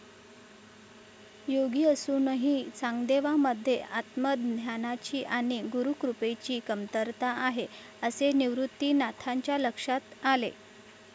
योगी असूनही चांगदेवांमध्ये आत्मध्यानाची आणि गुरुकृपेची कमतरता आहे असे निवृत्तीनाथांच्या लक्षात आले.